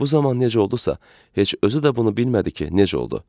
Və bu zaman necə oldusa, heç özü də bunu bilmədi ki, necə oldu.